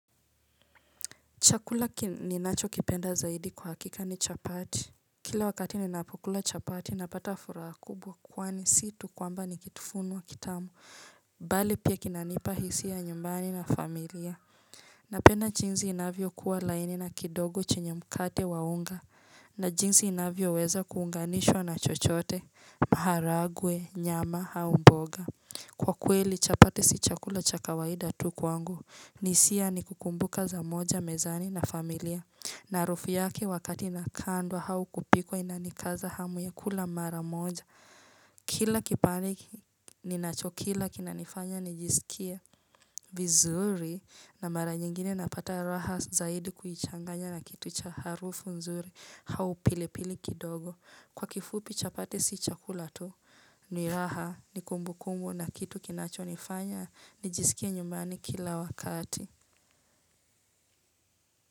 Chakula ninachokipenda zaidi kwa hakika ni chapati. Kila wakati ninapokula chapati napata furaha kubwa kwani si tu kwamba ni kitafunwa kitamu. Bali pia kinanipa hisia ya nyumbani na familia. Napenda jinsi inavyokuwa laini na kidogo chenye mkate wa unga. Na jinsi inavyoweza kuunganishwa na chochote, maharagwe, nyama, au mboga. Kwa kweli chapati si chakula cha kawaida tu kwangu. Ni hisia ni kukumbuka za moja, mezani na familia na harufu yake wakati inakandwa au kupikwa inanikaza hamu ya kula mara moja Kila kipande ninachokila kinanifanya nijisikie vizuri na mara nyingine napata raha zaidi kuichanganya na kitu cha harufu nzuri au pili pili kidogo Kwa kifupi chapati si chakula tu ni raha ni kumbu kumbu na kitu kinachonifanya nijisikie nyumbani kila wakati.